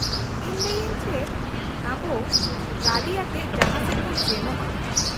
-ᱤᱧ ᱞᱟᱹᱭ ᱟᱹᱧ ᱪᱮᱫ, ᱟᱵᱚ ᱜᱟᱺᱰᱤ ᱟᱛᱮᱫ ᱡᱟᱦᱟᱸ ᱥᱮᱫ ᱵᱚᱱ ᱥᱮᱱᱚᱜᱼᱟ ᱾